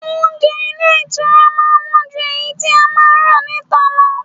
Oúnjẹ ilé ìtura máa ń wọ́n ju èyí tí a máa ń rà níta lọ.